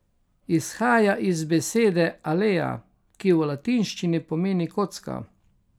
Izhaja iz besede alea, ki v latinščini pomeni kocka.